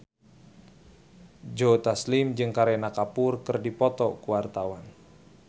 Joe Taslim jeung Kareena Kapoor keur dipoto ku wartawan